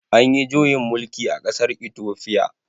Anyi juyin mulki a ƙasar itofiya